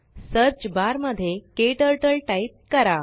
search बारमध्येKTurtleटाईप करा